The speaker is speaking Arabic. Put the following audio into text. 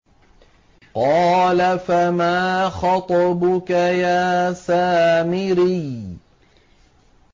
قَالَ فَمَا خَطْبُكَ يَا سَامِرِيُّ